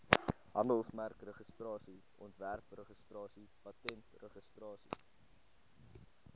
handelsmerkregistrasie ontwerpregistrasie patentregistrasie